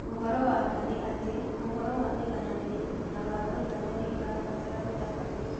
Ũhoro wa ma nĩ atĩ, ũhoro wa ũigananĩru na wa mũigana nĩ ũrabatara gũtabania.